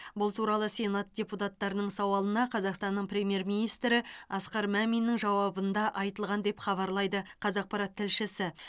бұл туралы сенат депутаттарының сауалына қазақстанның премьер министрі асқар маминнің жауабында айтылған деп хабарлайды қазақпарат тілшісі